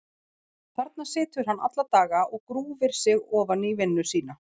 Þarna situr hann alla daga og grúfir sig ofan í vinnu sína.